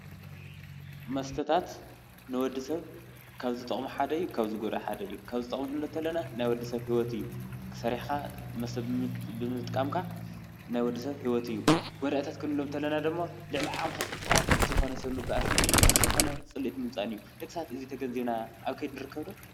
መስተታት ንወድ ሰብ ካብ ዝጠቅሙ ሓደ እዩ ካብ ዝጎድኡ ሓደ እዩ ። ካብ ዝጠቅሙ ክንብሎም ከለና ናይ ወድሰብ ሂወት እዩ። ሰሪሕካ ብምጥቃምካ ናይ ወድሰብ ሂወት እዩ። ጎዳእታት ክንብሎም ከለና ደግሞ ልዕሊ ዓቅምካ ሰቲካ ምስ ዘይኮነ ሰብ ምባአስን ምስ ዘይኮነ ፅልኢት ምምፃእ እዩ። ደቂ ሰባት እዙይ ተገንዚብና አብ ከይዲ ንርከብ ዶ?